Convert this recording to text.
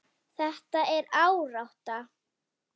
Þetta er árátta.